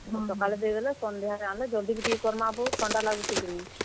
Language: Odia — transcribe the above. ସକାଲେ ଦେଇଦେଲେ, ସଂନ୍ଧ୍ୟାରେ ଆମେ ଜଲ୍ ଦି ବି ଟେକେ କର୍ ମା ବୋ ଥଣ୍ଡା ଲାଗୁଛେ କିନି।